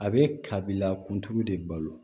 A bɛ kabila kuntigi de balo